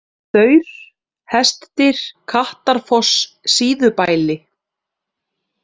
Staur, Hestdyr, Kattarfoss, Síðubæli